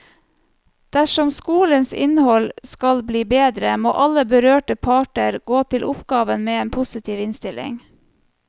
Dersom skolens innhold skal bli bedre, må alle berørte parter gå til oppgaven med en positiv innstilling.